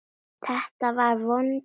Þetta var vond líðan.